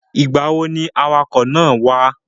Ìgbà wo ni awakọ̀ náà wá?